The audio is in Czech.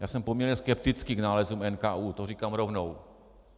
Já jsem poměrně skeptický k nálezům NKÚ, to říkám rovnou.